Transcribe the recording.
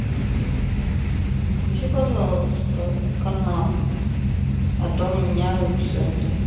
включи пожалуйста канал а то у меня руки заняты